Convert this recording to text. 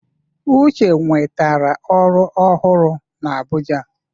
Uche nwetara ọrụ ọhụrụ na Abuja